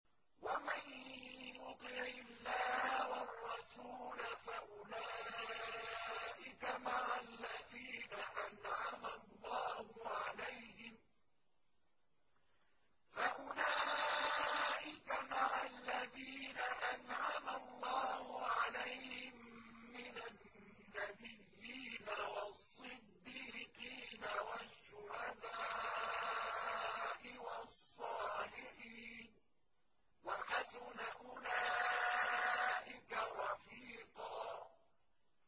وَمَن يُطِعِ اللَّهَ وَالرَّسُولَ فَأُولَٰئِكَ مَعَ الَّذِينَ أَنْعَمَ اللَّهُ عَلَيْهِم مِّنَ النَّبِيِّينَ وَالصِّدِّيقِينَ وَالشُّهَدَاءِ وَالصَّالِحِينَ ۚ وَحَسُنَ أُولَٰئِكَ رَفِيقًا